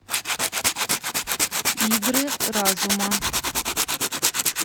игры разума